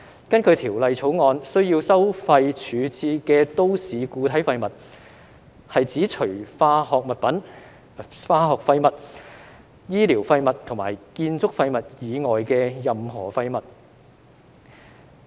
根據《條例草案》，需要收費處置的都市固體廢物，是指除化學廢物、醫療廢物及建築廢物以外的任何廢物。